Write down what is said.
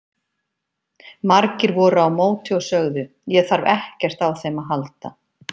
Margir voru á móti og sögðu: Ég þarf ekkert á þeim að halda.